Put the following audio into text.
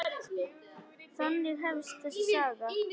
Þannig hefst þessi saga.